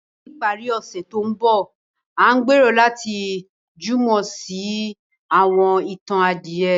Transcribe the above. Ni ìparí ọ̀sẹ̀ tó ń bọ̀, a n gbèrò láti jùmọ̀ se àwọn itan adìyẹ.